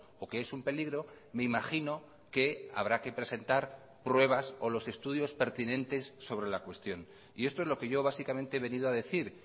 o que es un peligro me imagino que habrá que presentar pruebas o los estudios pertinentes sobre la cuestión y esto es lo que yo básicamente he venido a decir